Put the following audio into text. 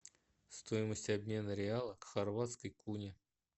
стоимость обмена реала к хорватской куне